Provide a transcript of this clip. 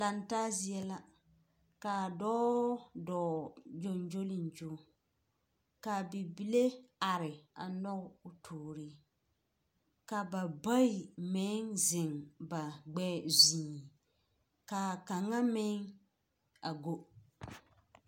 Lantaa zie la, kaa dɔɔ, dɔɔ gyoŋgyoliŋgyo, kaa bibile are a nɔge o toori, kaa ba bayi meŋ zeŋ ba gbɛɛ zuiŋ, kaa kaŋa meŋ, a go.